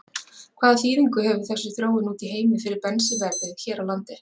Hvaða þýðingu hefur þessi þróun úti í heimi fyrir bensínverðið hér á landi?